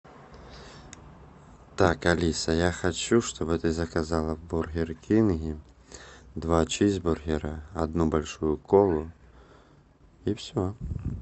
так алиса я хочу чтобы ты заказала в бургер кинге два чизбургера одну большую колу и все